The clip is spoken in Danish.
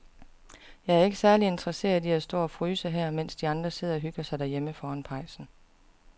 Jeg er ikke særlig interesseret i at stå og fryse her, mens de andre sidder og hygger sig derhjemme foran pejsen.